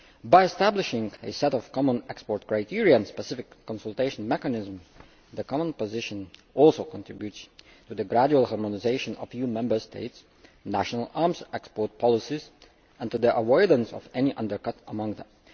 By establishing a set of common export criteria and a specific consultation mechanism, the common position also contributes to the gradual harmonisation of EU Member States' national arms export policies and to the avoidance of any undercutting among them.